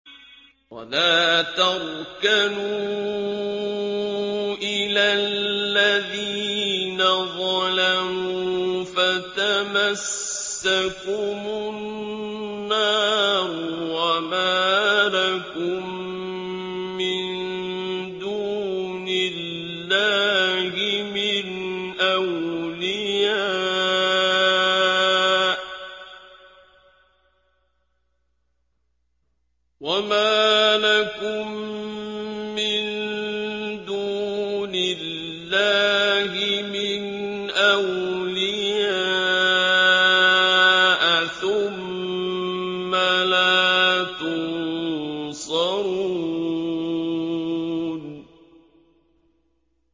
وَلَا تَرْكَنُوا إِلَى الَّذِينَ ظَلَمُوا فَتَمَسَّكُمُ النَّارُ وَمَا لَكُم مِّن دُونِ اللَّهِ مِنْ أَوْلِيَاءَ ثُمَّ لَا تُنصَرُونَ